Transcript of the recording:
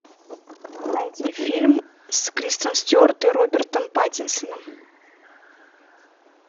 найди фильм с кристен стюарт и робертом паттинсоном